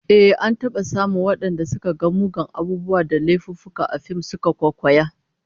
Ehh, an taba samun wadanda suka ga muggan abubuwa da laifuffuka a fim suka kwaikwaya